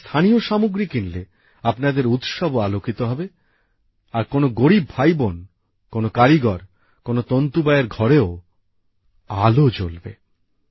আপনারা স্থানীয় সামগ্রী কিনলে আপনাদের উৎসবও আলোকিত হবে আর কোনো গরিব ভাই বোন কোনো কারিগর কোনো তন্তুবায়ের ঘরেও আলো জ্বলবে